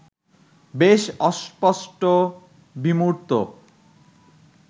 বেশ অস্পষ্ট, বিমূর্ত